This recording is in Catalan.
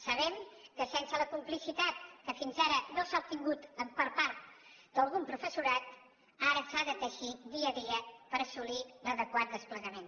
sabem que sense la complicitat que fins ara no s’ha obtingut per part de part del professorat ara s’ha de teixir dia a dia per assolir l’adequat desplegament